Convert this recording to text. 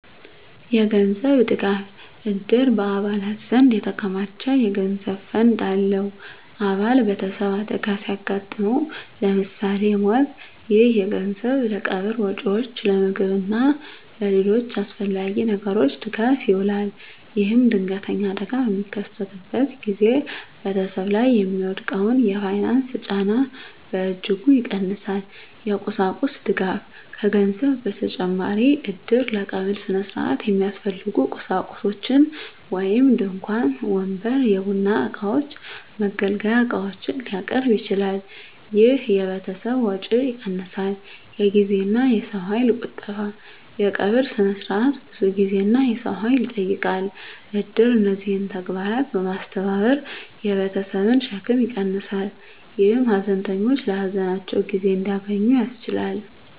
የገንዘብ ድጋፍ: እድር በአባላት ዘንድ የተከማቸ የገንዘብ ፈንድ አለው። አባል ቤተሰብ አደጋ ሲያጋጥመው (ለምሳሌ ሞት)፣ ይህ ገንዘብ ለቀብር ወጪዎች፣ ለምግብ እና ለሌሎች አስፈላጊ ነገሮች ድጋፍ ይውላል። ይህም ድንገተኛ አደጋ በሚከሰትበት ጊዜ ቤተሰብ ላይ የሚወድቀውን የፋይናንስ ጫና በእጅጉ ይቀንሳል። የቁሳቁስ ድጋፍ: ከገንዘብ በተጨማሪ እድር ለቀብር ሥነ ሥርዓት የሚያስፈልጉ ቁሳቁሶችን (ድንኳን፣ ወንበር፣ የቡና እቃዎች፣ የመገልገያ ዕቃዎች) ሊያቀርብ ይችላል። ይህ የቤተሰብን ወጪ ይቀንሳል። የጊዜና የሰው ኃይል ቁጠባ: የቀብር ሥነ ሥርዓት ብዙ ጊዜና የሰው ኃይል ይጠይቃል። እድር እነዚህን ተግባራት በማስተባበር የቤተሰብን ሸክም ይቀንሳል፣ ይህም ሀዘንተኞች ለሀዘናቸው ጊዜ እንዲያገኙ ያስችላል።